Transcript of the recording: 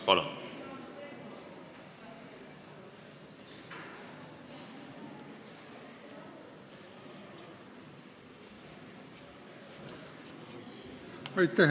Palun!